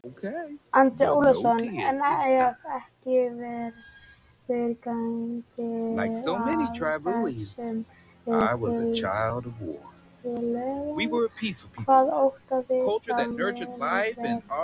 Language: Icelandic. Andri Ólafsson: En ef ekki verður gengið að þessum tillögum, hvað óttastu að muni gerast?